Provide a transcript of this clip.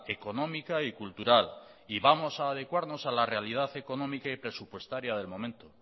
económica y cultural y vamos a adecuarnos a la realidad económica y presupuestaria del momento